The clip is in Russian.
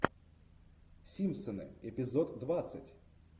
симпсоны эпизод двадцать